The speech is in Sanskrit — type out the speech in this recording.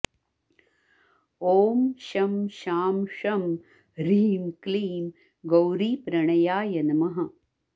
ॐ शं शां षं ह्रीं क्लीं गौरीप्रणयाय नमः